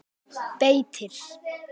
Beitir